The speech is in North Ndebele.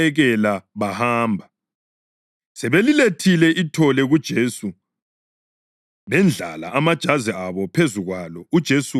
Sebelilethile ithole kuJesu bendlala amajazi abo phezu kwalo uJesu waseligada.